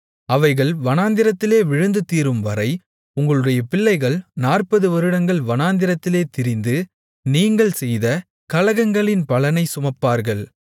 அவைகள் வனாந்திரத்திலே விழுந்து தீரும்வரை உங்களுடைய பிள்ளைகள் நாற்பது வருடங்கள் வனாந்திரத்திலே திரிந்து நீங்கள் செய்த கலகங்களின் பலனைச் சுமப்பார்கள்